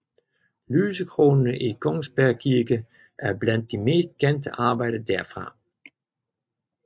Lysekronerne i Kongsberg kirke er blandt de mest kendte arbejder derfra